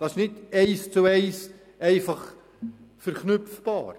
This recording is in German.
Das ist nicht einfach eins zu eins verknüpfbar.